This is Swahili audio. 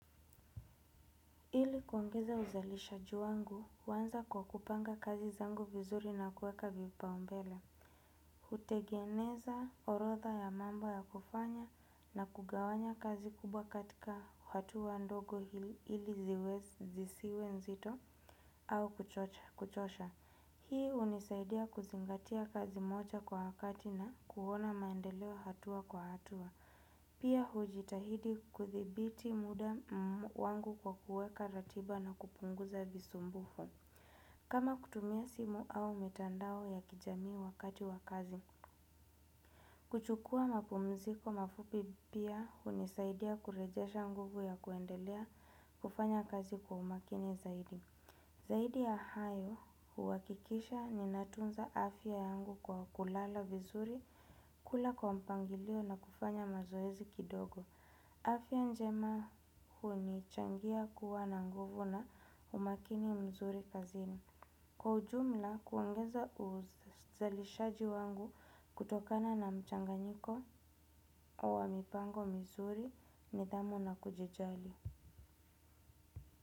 Hili kuongeza uzalishaji wangu, huanza kwa kupanga kazi zangu vizuri na kuweka vipaumbele. Hutegeneza orotha ya mambo ya kufanya na kugawanya kazi kubwa katika hatua ndogo ili zisiwe nzito au kuchosha. Hii hunisaidia kuzingatia kazi moja kwa wakati na kuona maendeleo hatua kwa hatua. Pia, hujitahidi kuthibiti muda wangu kwa kuweka ratiba na kupunguza visumbufu. Kama kutumia simu au mitandao ya kijamii wakati wakazi. Kuchukua mapumziko mafupi pia hunisaidia kurejasha nguvu ya kuendelea kufanya kazi kwa umakini zaidi. Zaidi ya hayo, huakikisha ninatunza afya yangu kwa kulala vizuri, kula kwa mpangilio na kufanya mazoezi kidogo. Afya njema hunichangia kuwa na nguvu na umakini mzuri kazini. Kwa ujumla huongeza uzalishaji wangu kutokana na mchanganyiko wa mipango mzuri nidhamu na kujijali.